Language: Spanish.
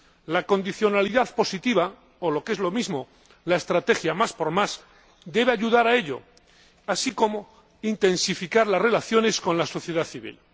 La condicionalidad positiva, o lo que es lo mismo, la estrategia más por más, debe ayudar a ello, así como intensificar las relaciones con la sociedad civil.